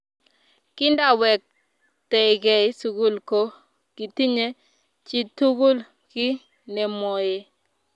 Kindawektekei sukul ko kitinye chitukul kiy nemwoe